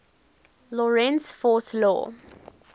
lorentz force law